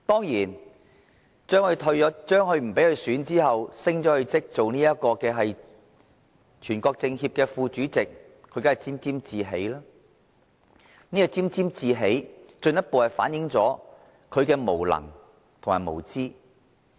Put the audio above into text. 梁振英當然對不讓他參選特首而委任他為全國政協副主席一事沾沾自喜，這進一步反映了他的無能及無知。